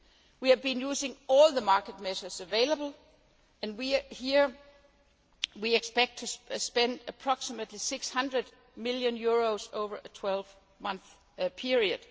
We have been using all the market measures available and here we expect to spend approximately EUR 600 million over a 12 month period.